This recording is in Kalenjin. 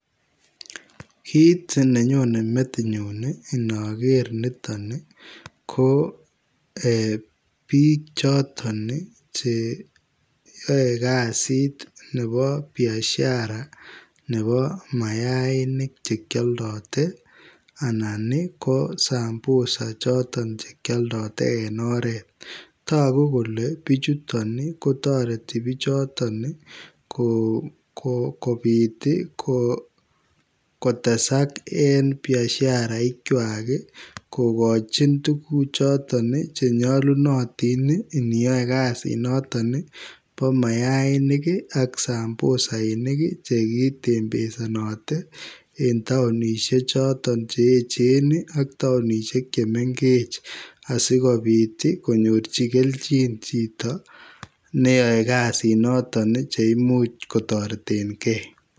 Kit nenyone metinyu inoker niton ii ko bik choton cheyoe kasit nebo biashara nebo mayainik chekioldote anan kosambusa ii choton chekioldote en oret togu kole bichuton kotoreti bichoton ii kobit kotesak en biasharaikwak ii, tuguchoton chenyolunotin iniyoe kasinoton ii bo mayainik ak sambusainik chekitembezenoten en toonishechoton cheechen ii ak toonishek chemengechen asikobit konyorji keljin bik cheyoe kasinoton cheimuch kotoretengee.